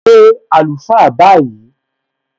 Pé àlùfáà báyìí!